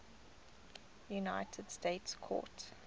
united states court